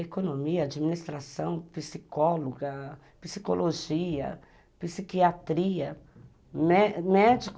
Economia, administração, psicóloga, psicologia, psiquiatria, mé mé médico.